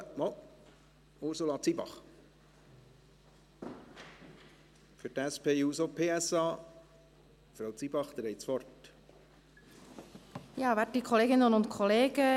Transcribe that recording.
– Ah, doch: Ursula Zybach für die SPJUSO-PSA-Fraktion. Frau Zybach, Sie haben das Wort.